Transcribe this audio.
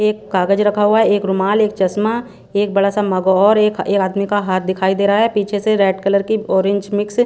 एक कागज रखा हुआ एक रुमाल एक चश्मा एक बड़ा सा मग और एक आदमी का हाथ दिखाई दे रहा है पीछे से रेड कलर की ऑरेंज मिक्स --